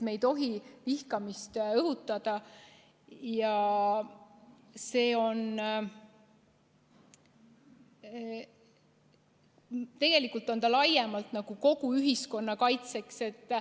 Me ei tohi vihkamist õhutada ja see keeld on mõeldud tegelikult kogu ühiskonna kaitseks.